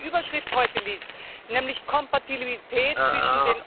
Wenn man schon die Überschrift heute liest, nämlich Kompatibilität zwischen dem